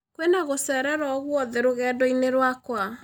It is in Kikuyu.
kwĩna gũcererwo ogũothe rũgendo-inĩ rwakwa